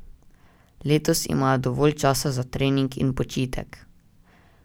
Letos imajo dovolj časa za trening in počitek.